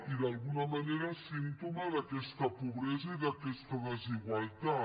i d’alguna manera símptoma d’aquesta pobresa i d’aquesta desigualtat